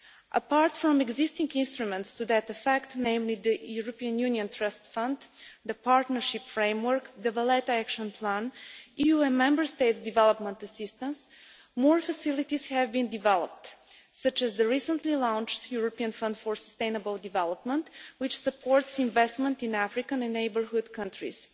Apart from existing instruments to that effect namely the European Union Trust Fund, the Partnership Framework, the Valletta Action Plan and EU Member States' development assistance more facilities have been developed such as the recently launched European Fund for Sustainable Development, which supports investment in Africa and in neighbourhood countries.